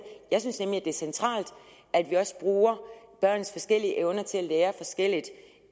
jeg synes nemlig at det er centralt at vi også bruger børns forskellige evner til at lære forskelligt